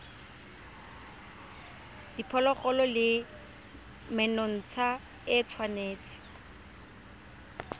diphologolo le menontsha e tshwanetse